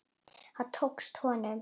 Það tókst honum.